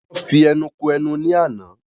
Wọn fi ẹnu ko ẹnu ní àna